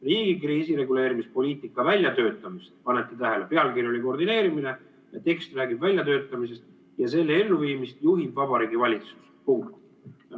Riigi kriisireguleerimispoliitika väljatöötamist ja selle elluviimist juhib Vabariigi Valitsus.